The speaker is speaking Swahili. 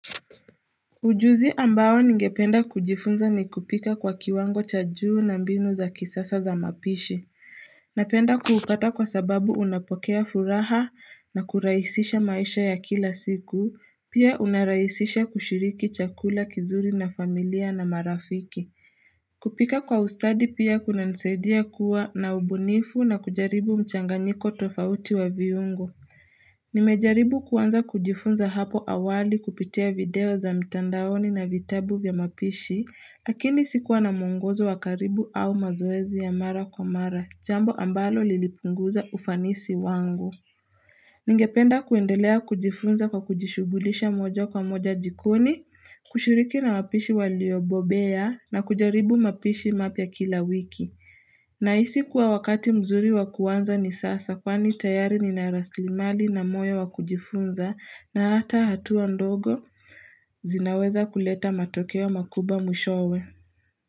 Ujuzi ambao ningependa kujifunza ni kupika kwa kiwango cha juu na mbinu za kisasa za mapishi. Napenda kuupata kwa sababu unapokea furaha na kurahisisha maisha ya kila siku, pia unarahisisha kushiriki chakula kizuri na familia na marafiki. Kupika kwa ustadi pia kunanisaidia kuwa na ubunifu na kujaribu mchanganyiko tofauti wa viungo. Nimejaribu kuanza kujifunza hapo awali kupitia video za mtandaoni na vitabu vya mapishi lakini sikuwa na mwongozo wa karibu au mazoezi ya mara kwa mara jambo ambalo lilipunguza ufanisi wangu Ningependa kuendelea kujifunza kwa kujishughulisha moja kwa moja jikoni kushiriki na wapishi waliobobea na kujaribu mapishi mapya kila wiki naisi kuwa wakati mzuri wa kuanza ni sasa kwani tayari Nina rasilimali na moyo wa kujifunza na hata hatua ndogo zinaweza kuleta matokeo makubwa mwishowe.